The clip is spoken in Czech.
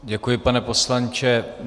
Děkuji, pane poslanče.